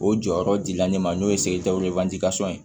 O jɔyɔrɔ dila ne ma n'o ye ye